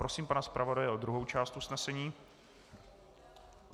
Prosím pana zpravodaje o druhou část usnesení.